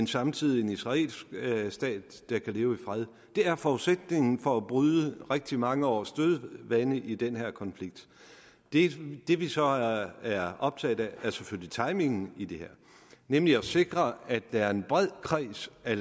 samtidig en israelsk stat der kan leve i fred det er forudsætningen for at bryde rigtig mange års dødvande i den her konflikt det vi så er optaget af er selvfølgelig timingen i det her nemlig at sikre at der er en bred kreds af